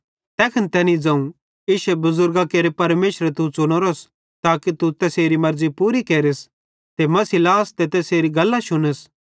तैखन तैनी ज़ोवं इश्शे बुज़ुरगां केरे परमेशरे तू च़ुनोरोस ताके तू तैसेरी मर्ज़ी पूरी केरस ते मसीह लास ते तैसेरी गल्लां शुनस